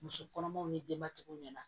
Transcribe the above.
Muso kɔnɔmaw ni denbatigiw ɲɛna